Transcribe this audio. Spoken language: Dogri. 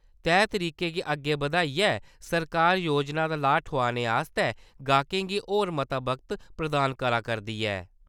तैह् तरीके गी अग्गै बधाइयै सरकारै योजना दा लाह् ठोआने आस्तै ग्राहकें गी होर मत्ता वक्त प्रदान करा करदी ऐ।